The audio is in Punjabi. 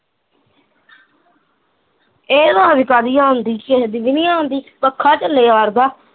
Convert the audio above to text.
ਏਹ ਆਵਾਜ਼ ਕਾਹਦੀ ਆਉਣ ਡਈ ਕਿਸੇ ਦੀ ਵੀ ਨੀ ਆਉਣ ਦਈ ਪੱਖਾ ਚੱਲਿਆ ਕਰਦਾ